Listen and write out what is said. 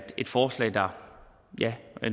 et forslag der